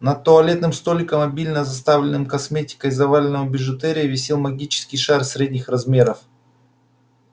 над туалетным столиком обильно заставленным косметикой и заваленным бижутерией висел магический шар средних размеров